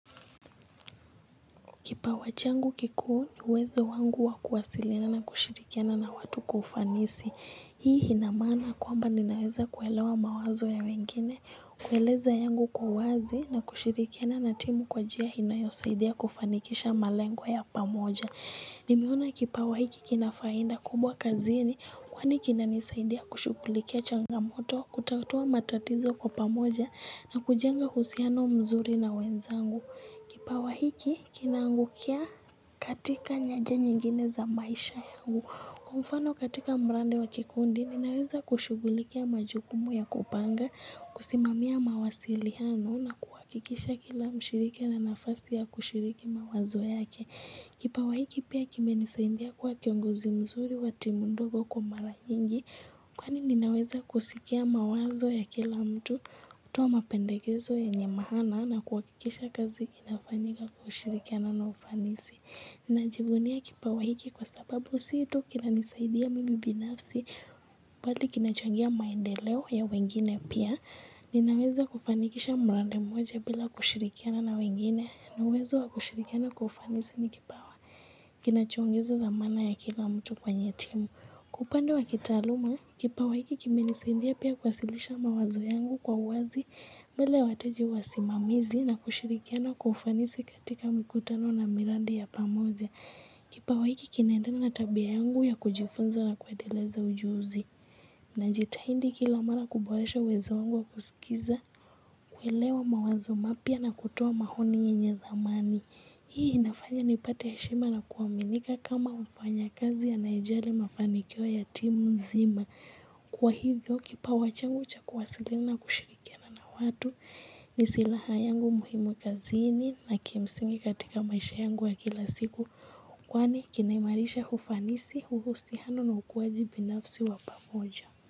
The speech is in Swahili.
Kipawa changu kikuu ni uwezo wangu wa kuwasilina na kushirikiana na watu kwa ufanisi. Hii ina maana kwamba ninaweza kuelewa mawazo ya wengine, kueleza yangu kwa uwazi na kushirikiana na timu kwa njia inayosaidia kufanikisha malengo ya pamoja. Nimeona kipawa hiki kina faida kubwa kazini kwani kinanisaidia kushughulikia changamoto, kutatua matatizo kwa pamoja na kujenga uhusiano mzuri na wenzangu. Kipawa hiki kinangukia katika nyanja nyingine za maisha yangu. Kwa mfano katika mradi wa kikundi ninaweza kushughulikia majukumu ya kupanga, kusimamia mawasiliano na kuwakikisha kila mshiriki ana nafasi ya kushiriki mawazo yake. Kipawa hiki pia kimenisaindia kwa kiongozi mzuri wa timu ndogo kwa mara nyiingi, kwani ninaweza kusikia mawazo ya kila mtu, kutoa mapendekezo yenye maana na kuhakikisha kazi kinafanyika kwa ushirikiano na ufanisi. Ninajivunia kipawa hiki kwa sababu situ kinanisaidia mimi binafsi bali kinachangia maendeleo ya wengine pia. Ninaweza kufanikisha mradi mmoja bila kushirikiana na wengine na uwezo wa kushirikiana kwa ufanisi kipawa. Kinachoongeza dhamana ya kila mtu kwenye timu. Kiupande wa kitaaluma, kipawa hiki kimenisaidia pia kuwasilisha mawazo yangu kwa uwazi bila wateja wasimamizi na kushirikiana kwa ufanisi katika mikutano na miradi ya pamoja. Kipawa hiki kinaendena na tabia yangu ya kujifunza na kuendeleza ujuzi. Najita indi kila mara kuboresha uwezo wangu wa kusikiliza kuelewa mawazo mapya na kutoa maoni yenye thamani. Hii inafanya nipate heshima na kuaminika kama mfanyakazi anayejali mafanikio ya timu nzima. Kwa hivyo kipawa changu cha kuwasiliana na kushirikiana watu ni silaha yangu muhimu kazini na kimsingi katika maisha yangu wa kila siku. Kwani kinaimarisha ufanisi uhusiano na ukuaji binafsi wa pamoja.